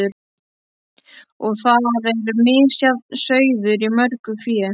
Og þar er misjafn sauður í mörgu fé.